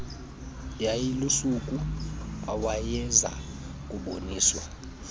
yayilusuku awayeza kuboniswa